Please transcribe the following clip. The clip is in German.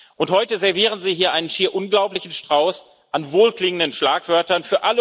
Und heute servieren Sie hier einen schier unglaublichen Strauß an wohlklingenden Schlagwörtern.